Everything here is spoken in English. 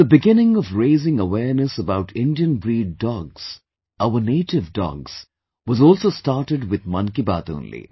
The beginning of raising awareness about Indian breed dogs, our native dogs, was also started with 'Mann Ki Baat' only